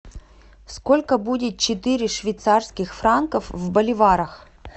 сколько будет четыре швейцарских франков в боливарах